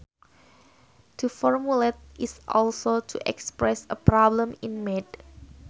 To formulate is also to express a problem in math